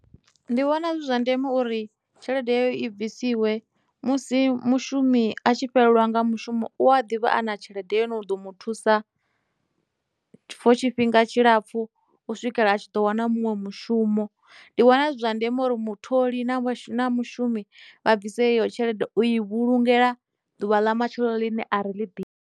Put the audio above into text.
Ndi vhona zwi zwa ndeme uri tshelede iyo i bvisiwe musi mushumi a tshi fhelelwa nga mushumo u a ḓivha ana tshelede ine ya ḓo mu thusa for tshifhinga tshilapfu u swikela a tshi ḓo wana munwe mushumo ndi vhona zwi zwa ndeme uri mutholi na shuma mushumi vha bvise iyo tshelede u i vhulungela ḓuvha ḽa matshelo ḽine ari ḽi ḓivhi.